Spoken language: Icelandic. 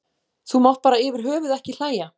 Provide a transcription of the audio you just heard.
Þú mátt bara yfir höfuð ekki hlæja.